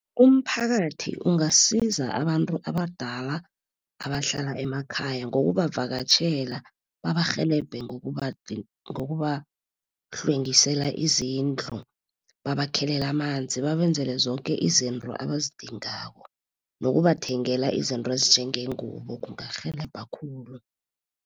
Umphakathi ungasiza abantu abadala abahlala emakhaya, ngokubavakatjhela. Babarhelebhe ngokubahlwengisela izindlu. Babakhelela amanzi, babenzele zoke izinto abazidingako nokubathengela izinto ezinjengeengubo kungarhelebha khulu.